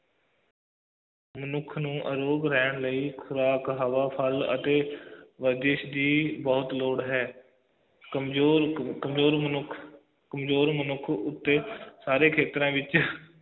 ਮਨੁੱਖ ਨੂੰ ਰੋਗ ਰਹਿਣ ਲਈ ਇੱਕ ਖੁਰਾਕ ਹਵਾ ਫੱਲ ਅਤੇ ਵਰਜਿਸ਼ ਦੀ ਬਹੁਤ ਲੋੜ ਹੈ ਕਮਜ਼ੋਰ ਕਮਜ਼ੋਰ ਮਨੁੱਖ ਕਮਜ਼ੋਰ ਮਨੁੱਖ ਉੱਤੇ ਸਾਰੇ ਖੇਤਰਾਂ ਵਿਚ